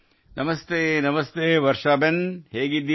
ನಮಸ್ತೆನಮಸ್ತೇ ವರ್ಷಾಬೆನ್ | ನೀವು ಹೇಗಿದ್ದೀರಿ